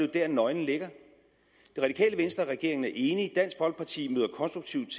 der nøglen ligger det radikale venstre og regeringen er enige dansk folkeparti møder konstruktivt